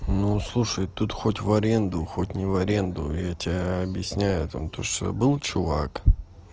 ну слушай тут хоть в аренду хоть не в аренду я тебе объясняю о том то что был чувак